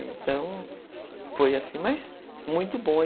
Então foi assim, mas muito bom.